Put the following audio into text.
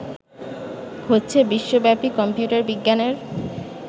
হচ্ছে বিশ্বব্যাপী কম্পিউটার বিজ্ঞানের